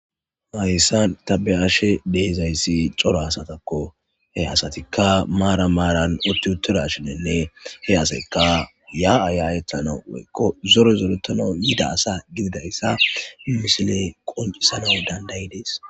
Haysan ta be'ashe dizay cora asataka. He asatika maaran maaran uttidashinne he asayka yaa'a yaa'etanaw woyko zore zoretanaw yidaysa misiley qonccisides.